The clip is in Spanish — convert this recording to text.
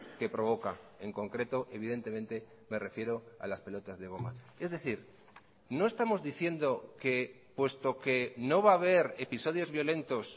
que provoca en concreto evidentemente me refiero a las pelotas de goma es decir no estamos diciendo que puesto que no va a haber episodios violentos